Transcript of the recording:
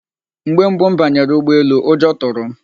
Mgbe mbụ m banyere ụgbọelu, ụjọ tụrụ m.